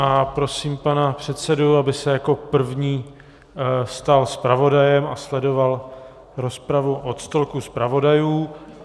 A prosím pana předsedu, aby se jako první stal zpravodajem a sledoval rozpravu od stolku zpravodajů.